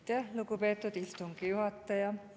Aitäh, lugupeetud istungi juhataja!